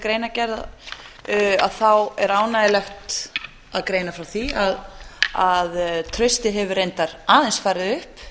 greinargerð þá er ánægjulegt að greina frá því að traustið hefur reyndar aðeins farið upp